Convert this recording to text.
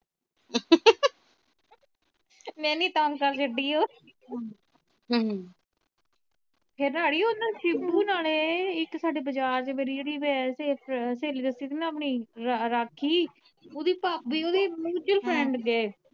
ਮੈ ਇੰਨੀ ਤੰਗ ਕਰ ਛੱਡੀ ਉਹ ਫਿਰ ਨਾ ਅੜੀਏ ਓਹਨੂੰ ਛਿੱਬੂ ਹੋਣਾ ਨੇ ਇਕ ਸਾਡੇ ਬਜਾਜ ਵਾਰੀ ਜਿਹੜੀ ਸਹੇਲੀ ਦਸੀ ਸੀ ਨਾ ਆਪਣੀ ਰਾ ਰਾਖੀ ਓਦੀ ਭਾਬੀ ਓਦੀ mutual friend ਜੇ